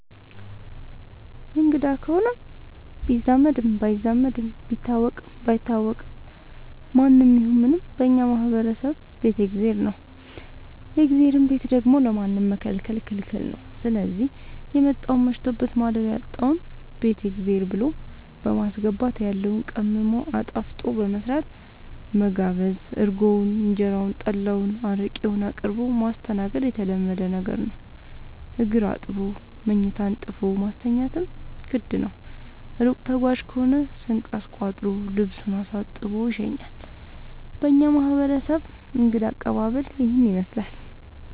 አንግዳ ከሆነ ቢዛመድም ባይዛመድም ቢታወቅም ባይታወቅም ማንም ይሁን ምንም በእኛ ማህበረሰብ ቤት የእግዜር ነው። የእግዜርን ቤት ደግሞ ለማንም መከልከል ክልክል ነው ስዚህ የመጣውን መሽቶበት ማደሪያ ያጣውን ቤት የእግዜር ብሎ በማስገባት ያለውን ቀምሞ አጣፍጦ በመስራት መጋበዝ እርጎውን እንጀራውን ጠላ አረቄውን አቅርቦ ማስተናገድ የተለመደ ነገር ነው። እግር አጥቦ መኝታ አንጥፎ ማስተኛትም ግድ ነው። እሩቅ ተጓዥ ከሆነ ስንቅ አስቋጥሮ ልሱን አሳጥቦ ይሸኛል። በእኛ ማህረሰብ እንግዳ አቀባሀል ይህንን ይመስላል።